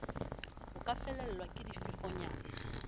ho ka fefolwa ke difefonyana